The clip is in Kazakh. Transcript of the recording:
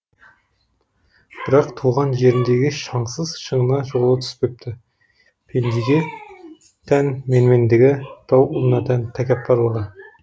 бірақ туған жеріндегі шаңсыз шыңына жолы түспепті пендеге тән менмендігі тау ұлына тән тәкаппарлығы